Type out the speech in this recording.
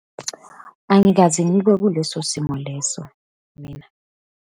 Angikaze ngibe kuleso simo leso mina.